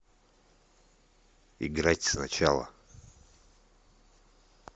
играть сначала